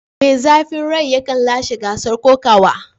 Mai zafin rai yakan lashe gasar kokawa.